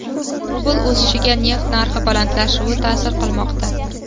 Rubl o‘sishiga neft narxi balandlashuvi ta’sir qilmoqda.